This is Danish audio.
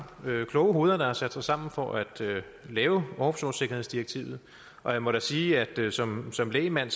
kloge hoveder der har sat sig sammen for at lave offshoresikkerhedsdirektivet og jeg må da sige at som som lægmand